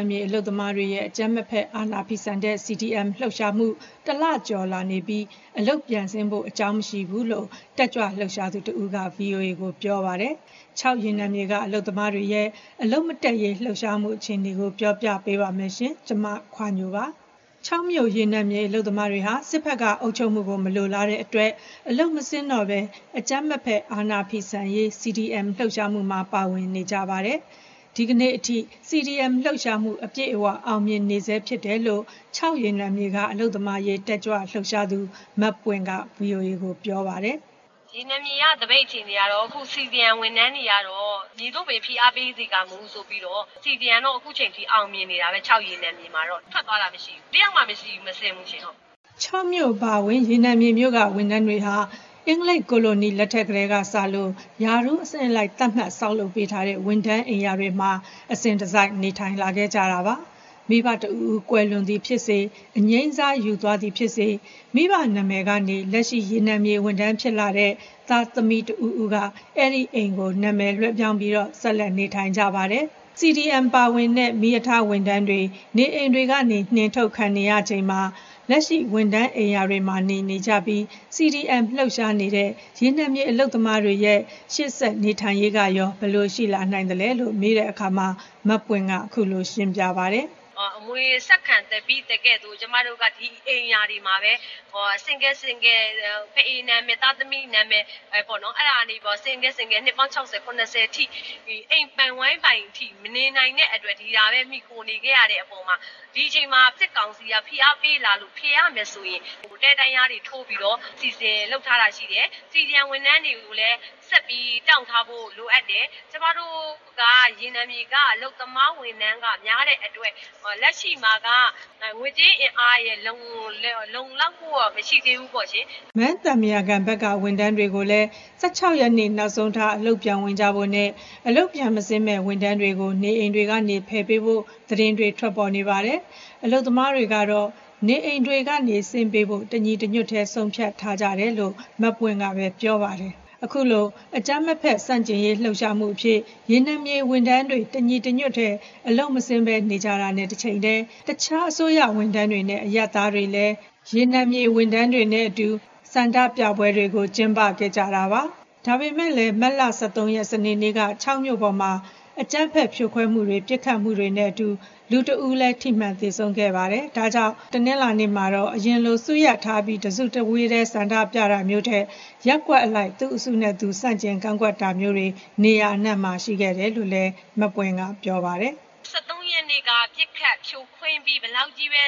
ံမြေ အလုပ်သမားတွေရဲ့ အကြမ်းမဖက် အာဏာဖီဆန်တဲ့ CDM လှုပ်ရှားမှု တလကျော်လာနေပြီး အလုပ်ပြန်ဆင်းဖို့ အကြောင်းမရှိဘူးလို့ တက်ကြွလှုပ်ရှားသူတဦးက ဗွီအိုအေကို ပြောပါတယ်။ ချောက်ရေနံမြေ အလုပ်သမားတွေရဲ့ အလုပ်မတက်ရေးလှုပ်ရှားမှု အခြေအနေကို မခွါညို တင်ပြပေးထားပါတယ်။ ချောက်မြို့ ရေနံမြေအလုပ်သမားတွေဟာ စစ်ဘက်က အုပ်ချုပ်မှုကို မလိုလားတဲ့အတွက် အလုပ်မဆင်းတော့ဘဲ အကြမ်းမဖက် အာဏာဖီဆန်ရေး CDM လှုပ်ရှားမှုမှာ ပါဝင်နေကြပါတယ်။ ဒီနေ့အထိ CDM လှုပ်ရှားမှု အပြည့်အဝ အောင်မြင်နေဆဲဖြစ်တယ်လို့ ချောက်ရေနံမြေက အလုပ်သမားအရေး တက်ကြွလှုပ်ရှားသူ မပွင့်က ဗွီအိုအေကို ပြောပါတယ်။ “ရေနံမြေသပိတ် အခြေအနေကတော့ အခု CDM ဝန်ထမ်းတွေကတော့ ‘မည်သို့ပင် ဖိအားပေးစေကာမူ’ ဆိုပြီးတော့ ချောက်ရေနံမြေကတော့ CDM က အခုအချိန်အထိ အောင်မြင်နေတာပဲ။ ထွက်သွားတဲ့သူ တယောက်မှမရှိဘူူး။ တယောက်မှ အလုပ်မဆင်းဘူးရှင့်။” ချောက်မြို့အပါအဝင် ရေနံမြေမြို့က ဝန်ထမ်းတွေဟာ အင်္ဂလိပ် ကိုလိုနီလက်ထက်ကတည်းကစလို့ ရာထူးအဆင့်အလိုက် သတ်မှတ်ဆောက်လုပ်ပေးထားတဲ့ ဝန်ထမ်းအိမ်ယာတွေမှာ နေထိုင်လာခဲ့ကြတာပါ။ မိဘတဦးဦး ကွယ်လွန်သည်ဖြစ်စေ၊ အငြိမ်းစားယူသွားသည်ဖြစ်စေ မိဘနာမည်ကနေ လက်ရှိ ရေနံမြေဝန်ထမ်းဖြစ်တဲ့ သားသမီးတဦးဦးက အဲဒီအိမ်ကို နာမည်လွဲှပြောင်းပြီး ဆက်လက် နေထိုင်ကြပါတယ်။ CDM မှာပါဝင်တဲ့ မီးရထားဝန်ထမ်းတွေကို နေအိမ်တွေကနေ နှင်ထုတ်ခံနေကြရချိန်မှာ ဝန်ထမ်းအိမ်ယာတွေမှာ နေနေကြပြီး CDM လှုပ်ရှားနေတဲ့ ရေနံမြေအလုပ်သမားတွေရဲ့ ရှေ့ဆက် နေထိုင်ရေးကရော ဘယ်လိုရှိလာနိုင်သလဲလို့ မေးတဲ့အခါမှာ မပွင့်က အခုလို ရှင်းပြပါတယ်။ “အမွေဆက်ခံဘိသကဲ့သို့ ဒီအိမ်ယာတွေမှာပဲ ကျမတို့က ဖအေနာမည်၊ သားသမီးနာမည် ဆင့်ကဲဆင့်ကဲ နှစ်ပေါင်း ၆၀-၇၀ အထိ အိမ်ပိုင် ဝိုင်းပိုင် မနေနိုင်တဲ့အတွက် ဒီဟာပဲ မှီခိုနေခဲ့ရတဲ့အပေါ်မှာ ဒီအချိန်မှာ စစ်ကောင်စီက ဖိအားပေးလာလို့ ဖယ်ရမယ်ဆိုရင် တဲတန်းလျားတွေထိုးပြီးတော့ နေဖို့ စီစဉ်ထားပါတယ်။ CDM ဝန်ထမ်းတွေ ဆက်ပြီး တောင့်ထားဖို့ လိုအပ်တယ်။ ရေနံမြေက အလုပ်သမားဝန်ထမ်းက များတဲ့အတွက် လက်ရှိမှာက ငွေကြေးအင်အားရယ်လို့ လုံလောက်မှုတော့ မရှိသေးဘူးပေါ့ရှင်။” မန်းသံပုရာကန် ရေနံမြေဝန်ထမ်းတွေကိုလည်း ၁၆ ရက်နေ့ နောက်ဆုံးထား အလုပ်ပြန်ဝင်ဖို့နဲ့ အလုပ်ပြန်မဆင်းမယ့် ဝန်ထမ်းတွေကို နေအိမ်တွေက ဖယ်ပေးဖို့ သတင်းတွေ ထွက်ပေါ်နေပါတယ်။ အလုပ်သမားတွေကတော့ နေအိမ်တွေကနေ ဆင်းပေးဖို့ တညီတညွတ်တည်း ဆုံးဖြတ်ထားကြတယ်လို့လည်း မပွင့်ကပဲ ပြောပါတယ်။ အခုလို အကြမ်းမဖက် ဆန့်ကျင်ရေး လှုပ်ရှားမှုအဖြစ် ရေနံမြေဝန်ထမ်းတွေ တညီတညွတ်တည်း အလုပ်မဆင်းဘဲ နေကြတာနဲ့ တချိန်တည်း တခြား အစိုးရဝန်ထမ်းတွေနဲ့ အရပ်သားတွေလည်း ရေနံမြေဝန်ထမ်းတွေနဲ့အတူ ဆန္ဒပြပွဲတွေ ကျင်းပခဲ့ကြတာပါ။ ဒါပေမယ့်လည်း မတ်လ ၁၃ ရက်နေ့က ချောက်မြို့ပေါ်မှာ အကြမ်းဖက်ဖြိုခွဲမှုတွေ၊ ပစ်ခတ်မှုတွေနဲ့အတူ လူတဦးလည်း သေနတ်ထိမှန် သေဆုံးခဲ့ပါတယ်။ ဒါကြောင့် တနင်္ဂနွေနေ့မှာတော့ အရင်လို စုရပ်ထားပြီး တစုတဝေးတည်း ဆန္ဒပြတာမျိုးထက် ရပ်ကွက်အလိုက် သူ့အစုလိုက်နဲ့သူ ဆန့်ကျင်ကန့်ကွက်တာမျိုးတွေ နေရာအနှံ့မှာ ရှိခဲ့တယ်လို့လည်း ပြောပါတယ်။ “၁၃ ရက်နေ့က ပစ်ခတ်ဖြိုခွဲပြီး ဘယ်လောက်ကြီးပဲ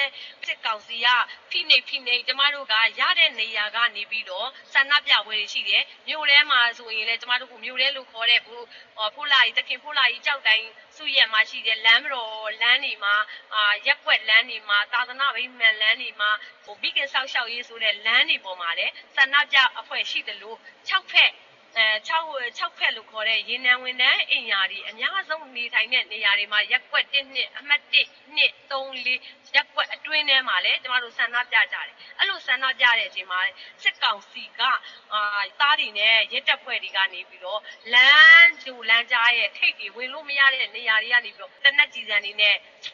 စစ်ကောင်စီက ဖိနှိပ် ဖိနှိပ်၊ ရတဲ့နေရာကနေပြီးတော့ ဆန္ဒပြပွဲတွေ ရှိတယ်။ မြို့ထဲလို့ခေါ်တဲ့ သခင်ဖိုးလှကြီးကျောက်တိုင် စုရပ်မှာ ရှိတယ်။ လမ်းမတော်လမ်းတွေမှာ၊ ရပ်ကွက်လမ်းတွေမှာ၊ သာသနာ့ဗိမာန်လမ်းတွေမှာ၊ မိခင်စောင့်ရှောက်ရေးဆိုတဲ့ လမ်းတွေပေါ်မှာလည်း ဆန္ဒပြအဖွဲ့တွေ ရှိပါတယ်။ ချောက်ဘက်လို့ခေါ်တဲ့ ရေနံဝန်ထမ်းအိမ်ယာတွေ အများဆုံးနေထိုင်တဲ့ ရပ်ကွက်အမှတ် ၁၊ ၂၊ ၃၊ ၄ ရပ်ကွက်အတွင်းထဲမှာလည်း ကျမတို့ ဆန္ဒပြကြတယ်။ အဲလို ဆန္ဒပြကြတဲ့အချိန်မှာ စစ်သားတွေနဲ့ ရဲတပ်ဖွဲ့တွေက လမ်းကြိုလမ်းကြားရဲ့ ထိပ်တွေ၊ ဝင်လို့မရတဲ့ နေရာတွေကနေပြီးတော့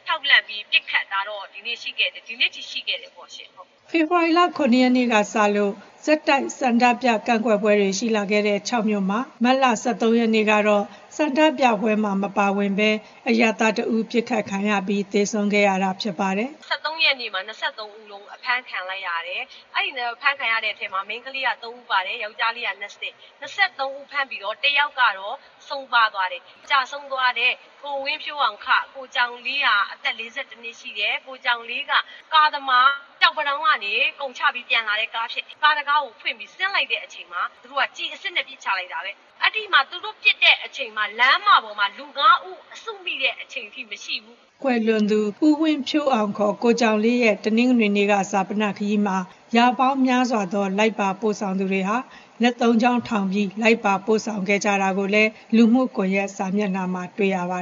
ခြောက်လှန့်ပြီး ပစ်ခတ်တာတော့ ဒီနေ့အထိ ရှိခဲ့တယ်ပေါ့ရှင့်။” ဖေဖော်ဝါရီလ ၇ ရက်နေ့ကစလို့ ဆက်တိုက် ဆန္ဒပြကန့်ကွက်ပွဲတွေ ရှိလာခဲ့တဲ့ ချောက်မြို့မှာ မတ်လ ၁၃ ရက်၊ စနေနေ့မှာတော့ ဆန္ဒပြပွဲမှာ မပါဝင်တဲ့ အရပ်သားတဦး ပစ်ခတ်ခံရပြီး သေဆုံးခဲ့ရတာ ဖြစ်ပါတယ်။ “၁၃ ရက်နေ့မှာ ၂၃ ဦးလုံး အဖမ်းခံလိုက်ရတယ်။ အဖမ်းခံရတဲ့အထဲမှာ မိန်းကလေး ၃ ဦးပါတယ်၊ ယောက်ကျားလေးက ၂၀၊ ၂၃ ဦး ဖမ်းခံရပြီး တယောက်ကတော့ ကျဆုံးသွားတယ်။ ကျဆုံးသွားတဲ့ ကိုဝင်းဖြိုးအောင် (ခ) ကိုကြောင်လေးက အသက် ၄၁ နှစ်ရှိတယ်။ ကိုကြောင်လေးက ကားသမား။ ကျောက်ပန်းတောင်းကနေ ကုန်ချပြီး ပြန်လာတဲ့ကား ဖြစ်တယ်။ ကားတခါးကိုဖွင့်ပြီး ဆင်းလိုက်တဲ့အချိန်မှာ သူတို့က ကျည်အစစ်နဲ့ ပစ်ချလိုက်တာပဲ။ သူတို့ပစ်တဲ့အချိန်မှာ လမ်းမပေါ်မှာ လူငါးဦး စုမိတဲ့အခြေအနေ မရှိဘူး။” ကွယ်လွန်သူ ဦးဝင်းဖြိုးအောင် (ခေါ်) ကိုကြောင်လေးရဲ့ တနင်္ဂနွေနေ့ ဈာပနခရီးမှာ ရာပေါင်းများစွာသော လိုက်ပါပို့ဆောင်ကြသူတွေဟာ လက်သုံးချောင်းထောင်ပြီး လိုက်ပါပို့ဆောင်ခဲ့ကြတာကိုလည်း လူမှုကွန်ရက် စာမျက်နှာမှာ တွေ့ရပါ